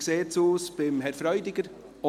Wie sieht es bei Herrn Freudiger aus?